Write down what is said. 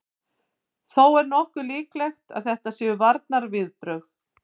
Þó er nokkuð líklegt að þetta séu varnarviðbrögð.